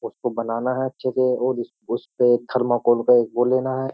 उसको बनाना है अच्छे से और उसपे थर्माकोल का एक वो लेना है।